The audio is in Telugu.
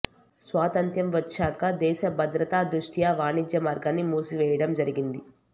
స్వాతంత్ర్యం వచ్చేక దేశ బద్రతా ద్రుష్ట్యా వాణిజ్య మార్గాన్ని మూసివెయ్యడం జరిగింది